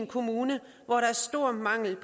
kommuner